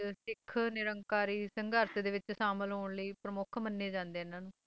ਉੱਨੀ ਸੌ ਅੱਠਤਰ ਉੱਨੀ ਸੌ ਅੱਠਤਰ ਵਿੱਚ ਸਿੱਖ ਨਿਰੰਕਾਰੀ ਸੰਘਰਸ਼ ਦੇ ਵਿੱਚ ਸ਼ਾਮਿਲ ਹੋਣ ਲਈ ਪ੍ਰਮੁੱਖ ਮੰਨਿਆ ਜਾਂਦਾ ਇਨ੍ਹਾਂ ਨੂੰ